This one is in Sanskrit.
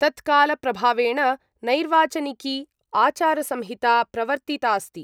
तत्कालप्रभावेण नैर्वाचनिकी आचारसंहिता प्रवर्तितास्ति।